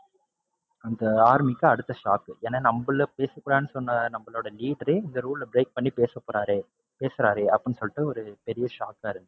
அந்த army க்கு அடுத்த shock. ஏன்னா நம்மல பேச கூடாதுன்னு சொன்ன நம்பளோட leader ஏ இந்த rule அ break பண்ணி பேசப்போறாரே, பேசுறாரே அப்படின்னு சொல்லிட்டு ஒரு பெரிய shock ஆ இருந்துச்சு.